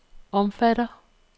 omfatter